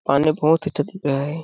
पानी बहुत अच्छा दिख रहा है।